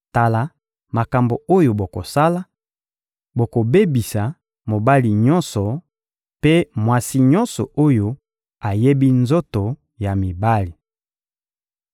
Tala makambo oyo bokosala: ‹Bokobebisa mobali nyonso mpe mwasi nyonso oyo ayebi nzoto ya mibali.›»